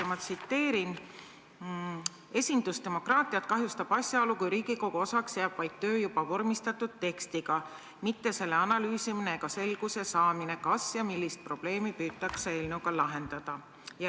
Ma tsiteerin: "Esindusdemokraatiat kahjustab asjaolu, kui Riigikogu osaks jääb vaid töö juba vormistatud tekstiga, mitte selle analüüsimine ega selguse saamine, kas ja millist probleemi püütakse eelnõuga lahendada.